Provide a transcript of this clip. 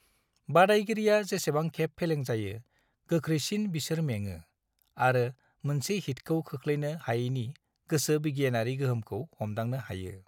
बादायगिरिया जेसेबां खेब फेलें जायो, गोख्रैसिन बिसोर मेङो, आरो मोनसे हिटखौ खोख्लैनो हायैनि गोसो बिगियानारि गोहोमखौ हमदांनो हायो।